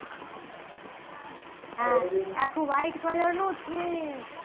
આખું white colour નું છે